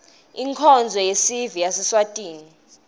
inkonzo yesive yaseswatini